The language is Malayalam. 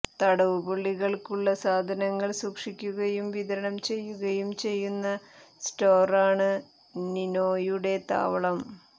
തടവുപുള്ളികൾക്കുള്ള സാധനങ്ങൾ സൂക്ഷിക്കുകയും വിതരണം ചെയ്യുകയും ചെയ്യുന്ന സ്റ്റോറാണ് നിനോയുടെ താവളം